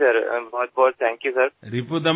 হয় ছাৰ অশেষ ধন্যবাদ ছাৰ